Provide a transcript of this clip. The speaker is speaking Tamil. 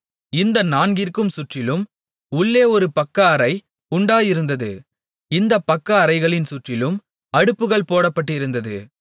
இந்த நான்கிற்கும் சுற்றிலும் உள்ளே ஒரு பக்கஅறை உண்டாயிருந்தது இந்தப் பக்கஅறைகளின் சுற்றிலும் அடுப்புகள் போடப்பட்டிருந்தது